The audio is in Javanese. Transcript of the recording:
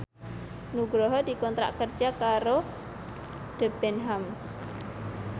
Nugroho dikontrak kerja karo Debenhams